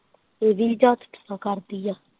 ਇਹ ਵੀ ਜਾਦੂ ਟੂਣਾ ਕਰਦੀ ਐ।